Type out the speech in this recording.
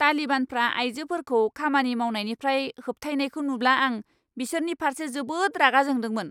तालिबानफ्रा आयजोफोरखौ खामानि मावनायनिफ्राय होबथायनायखौ नुब्ला, आं बिसोरनि फारसे जोबोद रागा जोंदोंमोन।